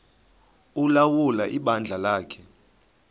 ulawula ibandla lakhe